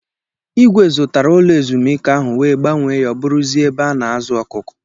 Igwe zụtara ụlọ ezumike ahụ wee gbanwe ya o bụrụzia ebe a na-azụ ọkụkọ.